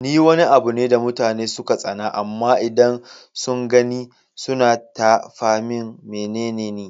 Ni Wani abune da mutane suka tsana amma idan sun gani suna tafa min menene Ni?